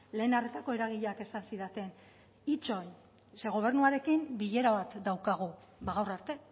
lehen arretako eragileek esan zidaten itxoin ze gobernuarekin bilera bat daukagu bada gaur arte